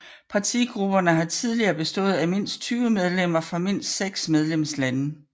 Partigrupperne har tidligere bestået af mindst 20 medlemmer fra mindst seks medlemslande